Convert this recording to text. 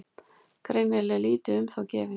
Greinilega lítið um þá gefið.